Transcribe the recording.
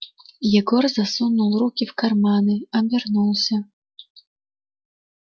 егор засунул руки в карманы обернулся